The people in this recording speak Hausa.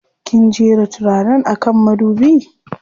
Kin jera turaren a kan madubi?